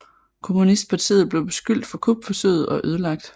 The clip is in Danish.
Kommunistpartiet blev beskyldt for kupforsøget og ødelagt